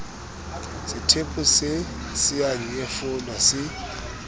sethepu se a nyefolwa se